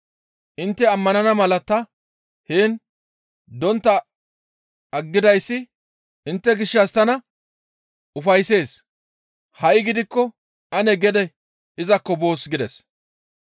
Intte ammanana mala ta heen dontta aggidayssi intte gishshas tana ufayssees; ha7i gidikko ane gede izakko boos» gides.